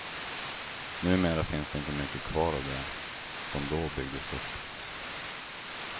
Numera finns det inte mycket kvar av det, som då byggdes upp.